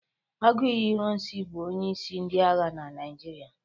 aguiyi ironsi bu onye isi ndi agha na Naijiria.